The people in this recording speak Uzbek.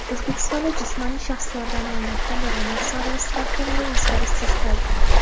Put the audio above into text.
O‘zbekistonda jismoniy shaxslardan olinadigan daromad solig‘i stavkalari o‘zgarishsiz qoldi.